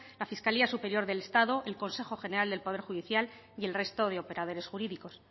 la fiscalía superior del estado el consejo general del poder judicial y el resto de operadores jurídicos